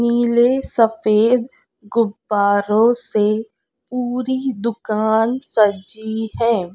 नीले सफेद गुब्बारों से पूरी दुकान सजी है।